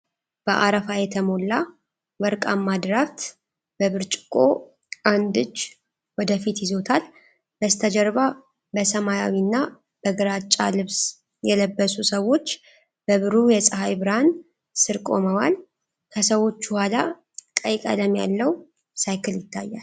በአረፋ የተሞላ ወርቃማ ድራፍት በብርጭቆ አንድ እጅ ወደ ፊት ይዞታል። በስተጀርባ በሰማያዊና በግራጫ ልብስ የለበሱ ሰዎች በብሩህ የፀሐይ ብርሃን ስር ቆመዋል። ከሰዎቹ ኋላ ቀይ ቀለም ያለው ሳይክል ይታያል።